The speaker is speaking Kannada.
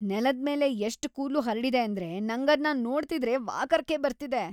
ನೆಲದ್ಮೇಲೆ ಎಷ್ಟ್ ಕೂದ್ಲು ಹರ್ಡಿದೆ ಅಂದ್ರೆ ನಂಗದ್ನ ನೋಡ್ತಿದ್ರೆ ವಾಕರ್ಕೆ ಬರ್ತಿದೆ.